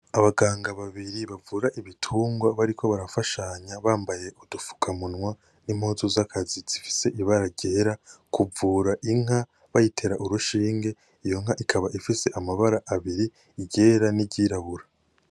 Abaganga babiri bavura ibitungwa bariko barafashanya bambaye udupfuka munwa n’impuzu z'akazi zifise ibara ryera kuvura inka bayitera urushinge iyonka ikaba ifise amabara abiri iryera n'iryirabura.